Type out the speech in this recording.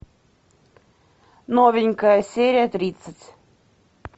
новенькая серия тридцать